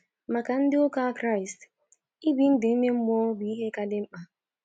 Maka ndi uka Kraist, ibi ndụ ime mmụọ bụ ihe ka dị mkpa